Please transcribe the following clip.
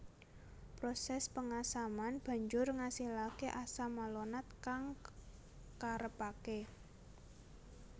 Proses pengasaman banjur ngasilake asam malonat kang karepake